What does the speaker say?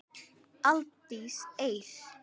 Aldís Eir.